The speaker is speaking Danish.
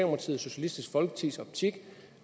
og socialistisk folkepartis optik